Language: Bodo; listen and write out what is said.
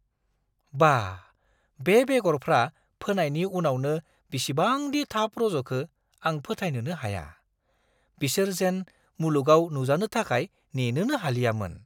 बाह, बे बेगरफ्रा फोनायनि उनावनो बिसिबांदि थाब रज'खो आं फोथायनोनो हाया। बिसोर जेन मुलुगाव नुजानो थाखाय नेनोनो हालियामोन!